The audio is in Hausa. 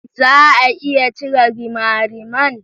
Za a iya cire rimariman?